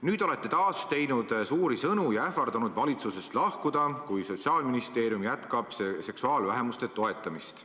Nüüd olete taas teinud suuri sõnu ja ähvardanud valitsusest lahkuda, kui Sotsiaalministeerium jätkab seksuaalvähemuste toetamist.